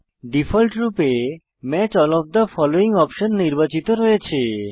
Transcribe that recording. ডিফল্টরূপে match all of the following option নির্বাচিত রয়েছে